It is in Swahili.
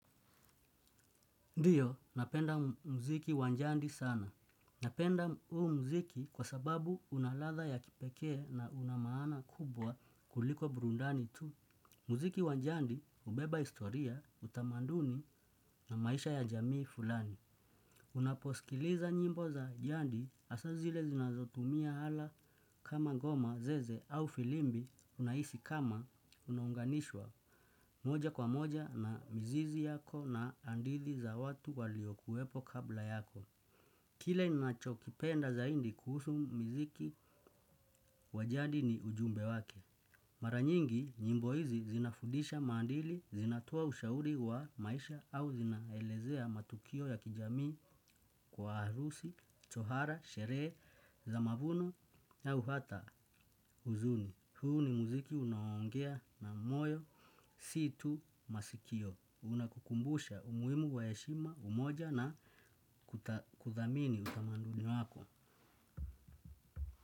Ndiyo, napenda muziki wa jandi sana. Napenda huu muziki kwa sababu una ladha ya kipekee na una maana kubwa kuliko burudani tu. Muziki wa jadi hubeba historia, utamaduni na maisha ya jamii fulani. Unaposikiliza nyimbo za jadi hasa zile zinazotumia hala kama ngoma zeze au filimbi unahisi kama unaunganishwa moja kwa moja na mzizi yako na hadithi za watu waliokuwepo kabla yako. Kile ninachokipenda zaidi kuhusu muziki wa jadi ni ujumbe wake. Mara nyingi, nyimbo hizi zinafundisha maadili, zinatoa ushauri wa maisha au zinaelezea matukio ya kijamii kwa harusi, tohara, sherehe, za mavuno au hata huzuni. Huu ni muziki unaongea na moyo, si tu masikio. Unakukumbusha umuhimu wa heshima, umoja na kuthamini utamaduni wako.